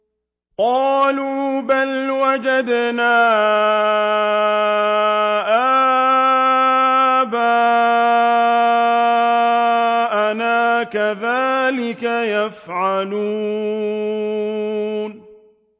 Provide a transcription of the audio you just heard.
قَالُوا بَلْ وَجَدْنَا آبَاءَنَا كَذَٰلِكَ يَفْعَلُونَ